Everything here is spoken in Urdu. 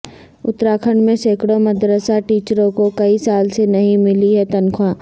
اتراکھنڈ میں سینکڑوں مدرسہ ٹیچروں کو کئی سال سےنہیں ملی ہے تنخواہ